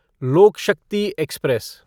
लोक शक्ति एक्सप्रेस